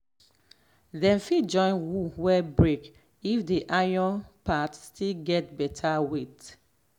dem fit join hoe way break if the iron part still gets beta weight.